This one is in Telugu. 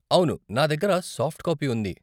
అవును, నా దగ్గర సాఫ్ట్ కాపీ ఉంది.